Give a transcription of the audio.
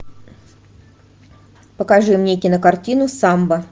покажи мне кинокартину самба